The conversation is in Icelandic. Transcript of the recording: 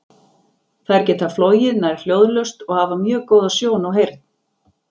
Þær geta flogið nær hljóðlaust og hafa mjög góða sjón og heyrn.